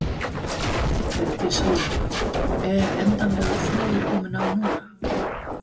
Bryndís Hólm: Er endanlegur friður kominn á núna?